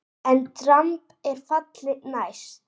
EN DRAMB ER FALLI NÆST!